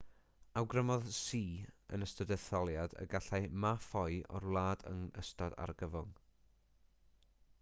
awgrymodd hsieh yn ystod yr etholiad y gallai ma ffoi o'r wlad yn ystod argyfwng